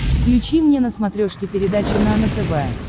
включи мне на смотрешке передачу нано тв